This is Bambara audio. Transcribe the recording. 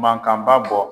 Mankanba bɔ